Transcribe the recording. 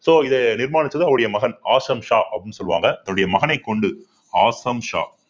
so இதை நிர்மாணிச்சது அவருடைய மகன் ஆசம் ஷா அப்படின்னு சொல்லுவாங்க தன்னுடைய மகனைக் கொண்டு ஆசம் ஷா